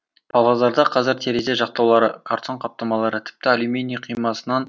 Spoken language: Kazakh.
павлодарда қазір терезе жақтаулары картон қаттамалары тіпті алюминий құймасынан